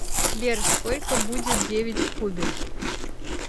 сбер сколько будет девять в кубе